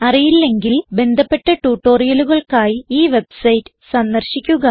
അറിയില്ലെങ്കിൽ ബന്ധപ്പെട്ട ട്യൂട്ടോറിയലുകൾക്കായി ഈ വെബ്സൈറ്റ് സന്ദർശിക്കുക